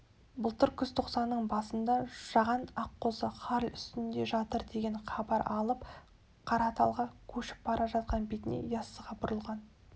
былтыр күзтоқсанның басында жаған аққозы хал үстінде жатыр деген хабар алып қараталға көшіп бара жатқан бетінде яссыға бұрылған